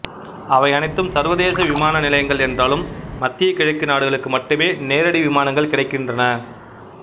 அவை அனைத்தும் சர்வதேச விமான நிலையங்கள் என்றாலும் மத்திய கிழக்கு நாடுகளுக்கு மட்டுமே நேரடி விமானங்கள் கிடைக்கின்றன